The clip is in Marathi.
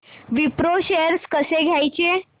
विप्रो शेअर्स कसे घ्यायचे